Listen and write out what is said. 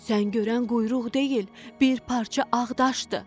Sən görən quyruq deyil, bir parça ağ daşdır.